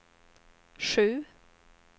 sju